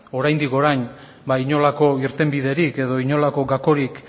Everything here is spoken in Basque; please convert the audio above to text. oraindik orain ba inolako irtenbiderik edo inolako gakorik